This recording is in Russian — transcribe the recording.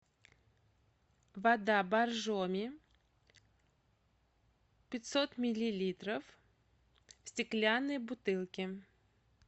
вода боржоми пятьсот миллилитров в стеклянной бутылке